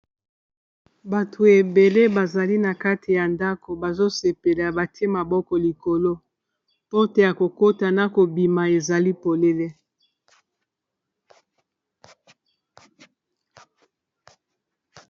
Bato ebele bazali na kati ya ndako bazo sepela batie maboko likolo porte ya kokota na kobima ezali polele.